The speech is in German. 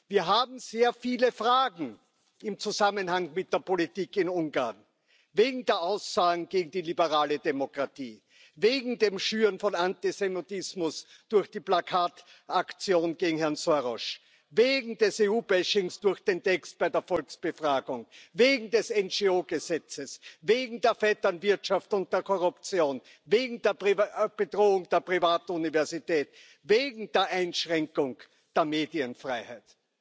Wir haben sehr viele Fragen im Zusammenhang mit der Politik in Ungarn wegen der Aussagen gegen die liberale Demokratie, wegen dem Schüren von Antisemitismus durch die Plakataktion gegen Herrn Soros, wegen des EU Bashings durch den Text bei der Volksbefragung, wegen des NGO Gesetzes, wegen der Vetternwirtschaft und der Korruption, wegen der Bedrohung der privaten Universität, wegen der Einschränkung der Medienfreiheit.